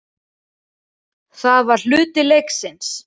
Það var hluti leiksins.